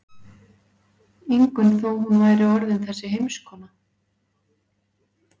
Ingunn þó hún væri orðin þessi heimskona.